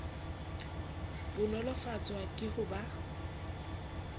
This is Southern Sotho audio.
bo nolofatswa ke ho ba